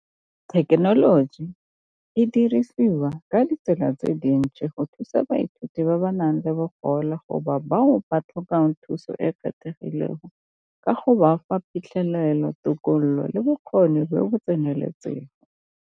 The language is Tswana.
Thekenoloji e dirisiwa ka ditsela tse dintsi go thusa baithuti ba ba nang le bogole bao ba tlhokang thuso e e kgethegileng ka go ba fa phitlhelelo, tokololo, le bokgoni jo bo tseneletseng.